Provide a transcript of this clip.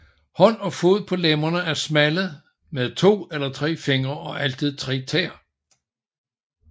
Hånd og fod på lemmerne er smalle med to eller tre fingre og altid tre tæer